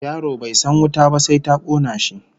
Yaro bai san wuta ba sai ta kona shi